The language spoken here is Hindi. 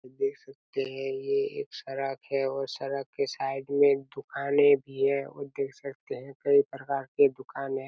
देख सकते है ये एक सड़क है और सड़क के साइड में एक दुकाने भी है और देख सकते है कई प्रकार के दुकाने--